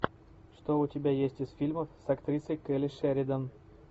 что у тебя есть из фильмов с актрисой келли шеридан